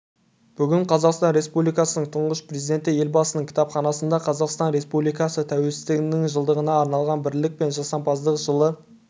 бүгін қазақстан республикасының тұңғыш президенті елбасының кітапханасында қазақстан республикасы тәуелсіздігінің жылдығына арналған бірлік пен жасампаздықтың жылы